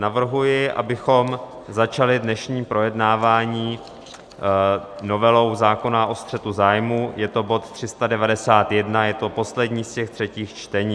Navrhuji, abychom začali dnešní projednávání novelou zákona o střetu zájmů, je to bod 391, je to poslední z těch třetích čtení.